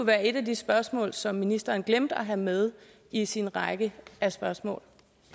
være et af de spørgsmål som ministeren glemte at have med i sin række af spørgsmål